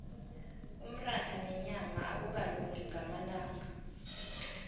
umratha nenyama akukalungi ngamalanga